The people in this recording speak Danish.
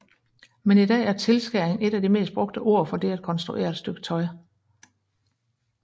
Men i dag er tilskæring et af de mest brugte ord for det at konstruere et stykke tøj